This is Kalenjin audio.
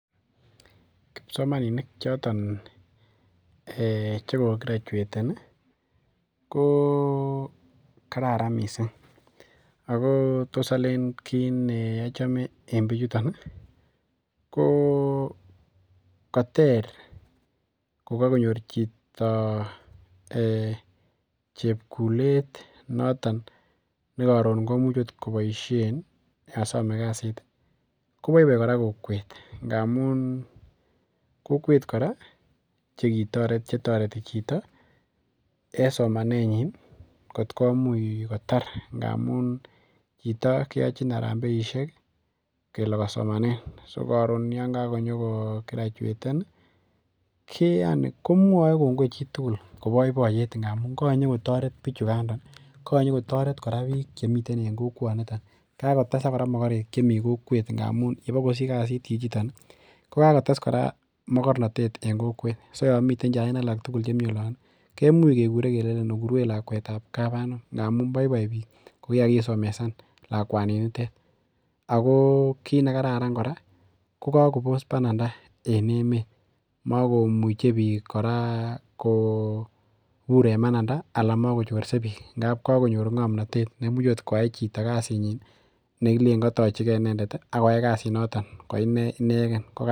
Kipsomaninik choton che kograjueten i, lo kararan missing' ,ako tos alen kiit ne achame en pichuton i,koter ko kakonyor chito chepkulet noton ne karon ne imuchi akot kopaishen kosame kasit ko paipai koran kowet ngamun kokwet kora che tareti chito en somanenyin kot komuch kotar ngamun chito keachin arambeishek kele kosomanen si karon yan kanyukograjueten i, komwae kongoi chi tugul ko paipaiyet ndamun kanyukotaret pichakanda, kanyukotaret piik kora chemiten kokwanitok. Kakotesak kora makarek che mi kokwet amun yepo kosich kasich chichitok ko kakotes kora makarnatet eng' kokwet. So ya miten chain alak tugul chemiten olon i, kemuch kekure kelechi okurwech lakwet ap kap anum amu ngamu poipoi piik ko ye kakisomeshan lakwanittet . Ako kiit ne kararan kora ko kakopos pananda en emet. Makomuchi piik kora kopur en pananda anan makochorsei piik amun kakonyor ng'amnatet ne much akot koyai kasinyin ne kilen katachigei inendet ak koyai kasinotok ko ine inegen.